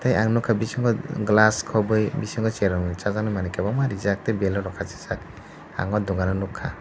eiang nugkah bisingo glass khogoi bisingo chwrai rok ni manui kwbangma reejak tei blur bo khasijak ang aw dugan o nugkha.